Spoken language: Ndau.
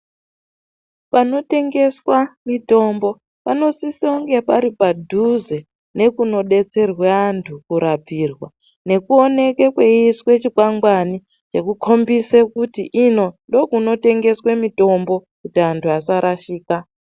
Panotengeswa mitombo panosisonge pari padhuze nekunodetserwa antu kurapirwa nekuoneke kweiiswa chikwangwani chekukhombise kuti ino ndokunotengeswe mitombo kuti anhu asarashika.